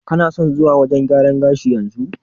Kana son zuwa wajen gyaran gashi yanzu?